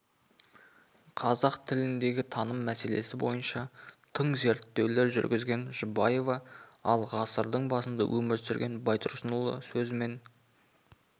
қазақ тіліндегі таным мәселесі бойынша тың зерттеулер жүргізген жұбаева ал ғасырдың басында өмір сүрген байтұрсынұлы сөзімен